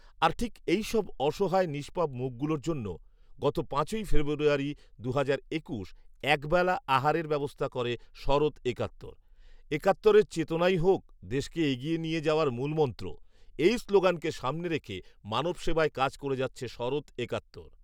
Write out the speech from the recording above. আর ঠিক এইসব অসহায় নিষ্পাপ মুখগুলোর জন্য গত পাঁচই ফেব্রুয়ারি, দুহাজার একুশ একবেলা আহারের ব্যবস্থা করে 'শরৎ একাত্তর'। ‘একাত্তরের চেতনাই হোক দেশকে এগিয়ে নিয়ে যাওয়ার মূলমন্ত্র" এই স্লোগানকে সামনে রেখে মানবসেবায় কাজ করে যাচ্ছে শরৎ একাত্তর